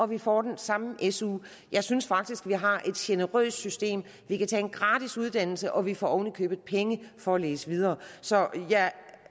vi får den samme su jeg synes faktisk at vi har et generøst system vi kan tage en gratis uddannelse og vi får oven i købet penge for at læse videre så jeg